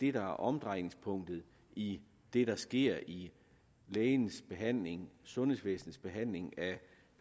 er omdrejningspunktet i det der sker i lægens behandling i sundhedsvæsens behandling af